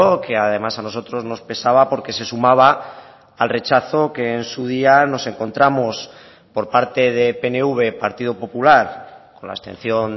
que además a nosotros nos pesaba porque se sumaba al rechazo que en su día nos encontramos por parte de pnv partido popular con la abstención